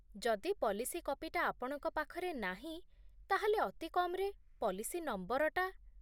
ଯଦି ପଲିସି କପିଟା ଆପଣଙ୍କ ପାଖରେ ନାହିଁ ତା'ହେଲେ, ଅତି କମ୍‌ରେ ପଲିସି ନମ୍ବରଟା ।